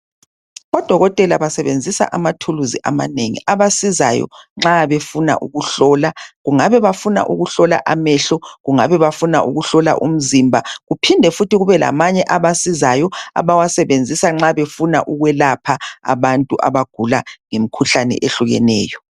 Odokotela basebenzisa amathuluzi amanengi abasizsyo nxa befuna ukuhlola. Kungabe bafuna ukuhlola amehlo Kungabe bafuna ukuhlola umzimba kuphinde futhi kube lamanye abasizayo abawasebenzisa nxa befuna ukwelapha abantu abagula imkhuhlane ehlukeneyo.